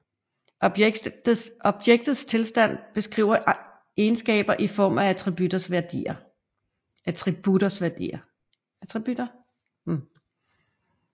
Objektets tilstand beskriver egenskaber i form af attributters værdier